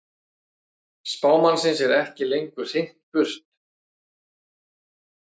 Spámannsins er ekki lengur hrint burt heldur víkja menn fyrir þeim.